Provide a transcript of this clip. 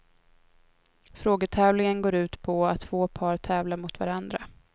Frågetävlingen går ut på att två par tävlar mot varandra.